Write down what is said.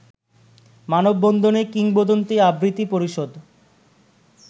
মানবন্ধনে কিংবদন্তি আবৃত্তি পরিষদ